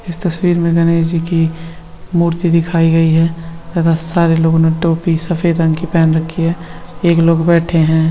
इस तस्वीर में गणेश जी की मूर्ति दिखाई दे रही है। एक लोग बैठे है।